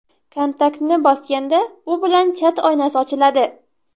Kontaktni bosganda u bilan chat oynasi ochiladi.